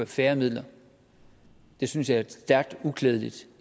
færre midler synes jeg er stærkt uklædeligt